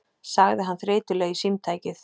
sagði hann þreytulega í símtækið.